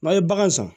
N'a ye bagan san